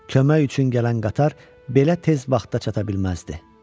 Kömək üçün gələn qatar belə tez vaxtda çata bilməzdi.